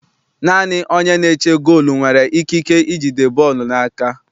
Naanị onye na-eche goolu nwere ikike ijide bọọlụ n'aka.